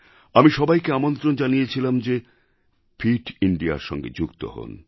আমি সবাইকে আমন্ত্রণ জানিয়েছিলাম যে ফিট Indiaর সঙ্গে যুক্ত হন